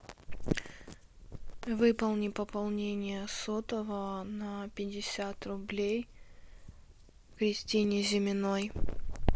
выполни пополнение сотового на пятьдесят рублей кристине зиминой